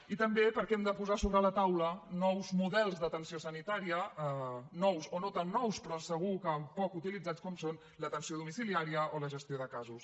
i també perquè hem de posar sobre la taula nous models d’atenció sanitària nous o no tan nous però segur que poc utilitzats com són l’atenció domiciliaria o la gestió de casos